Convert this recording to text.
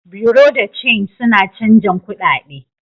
Bureau de change suna chanzan kudade.